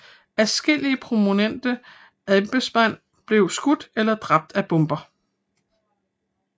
Adskillige prominente embedsfolk blev skudt eller dræbt af bomber